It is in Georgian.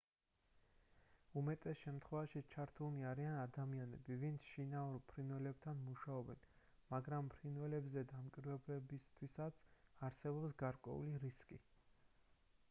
უმეტეს შემთხვევაში ჩართულნი არიან ადამიანები ვინც შინაურ ფრინველებთან მუშაობენ მაგრამ ფრინველებზე დამკვირვებლებისთვისაც არსებობს გარკვეული რისკი